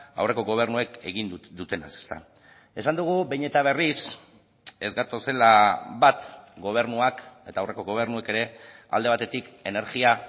aurreko gobernuek egin dutenaz esan dugu behin eta berriz ez gatozela bat gobernuak eta aurreko gobernuek ere alde batetik energia